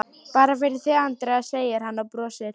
Bara fyrir þig, Andrea, segir hann og brosir.